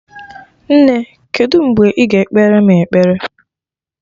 Nne, kedu mgbe ị ga ekpere mụ ekpere?